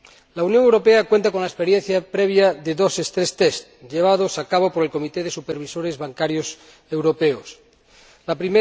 La Unión Europea cuenta con la experiencia previa de dos pruebas de resistencia, llevadas a cabo por el Comité de Supervisores Bancarios Europeos Las